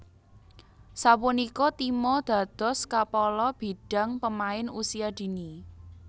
Sapunika Timo dados Kapala Bidang Pemain Usia Dini